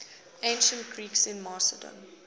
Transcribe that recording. ancient greeks in macedon